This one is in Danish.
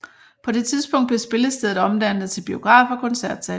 På det tidspunkt blev spillestedet omdannet til biograf og koncertsal